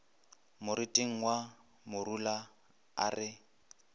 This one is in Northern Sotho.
moriting wa morula a re